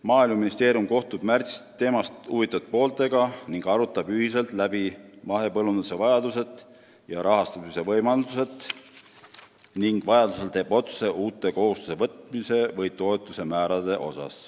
Maaeluministeerium kohtub märtsis teemast huvitatud pooltega, arutab nendega ühiselt läbi mahepõllunduse vajadused ja rahastamise võimalused ning teeb vajadusel otsused uute kohustuste võtmise või toetuste määrade kohta.